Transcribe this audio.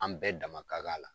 An bɛɛ dama kan la.